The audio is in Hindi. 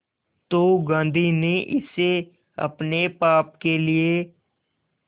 तो गांधी ने इसे अपने पाप के लिए